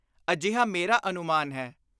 ਅਜਿਹਾ ਮੇਰਾ ਅਨੁਮਾਨ ਹੈ।